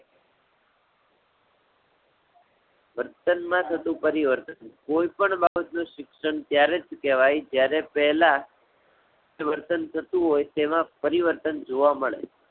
વર્તન માં થતું પરિવર્તન. કોઈ પણ બાબત નું શિક્ષણ ત્યારે જ કહેવાય જ્યારે પહેલા વર્તન થતું હોય તેમાં પરીવર્તન જોવા મળે.